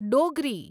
Dogri